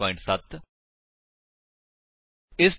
ਜੇਕਰ ਨਹੀਂ ਤਾਂ ਸਬੰਧਤ ਟਿਊਟੋਰਿਅਲ ਲਈ ਸਾਡੀ ਇਸ ਵੇਬਸਾਈਟ ਉੱਤੇ ਜਾਓ